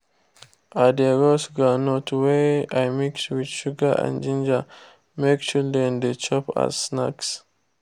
i de roast groundnut wey i mix with sugar and ginger make children de chop as snacks